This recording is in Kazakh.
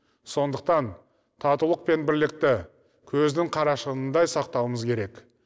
сондықтан татулық пен бірлікті көздің қарашығындай сақтауымыз керек